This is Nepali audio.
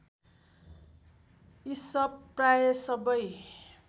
इसप प्रायः सबै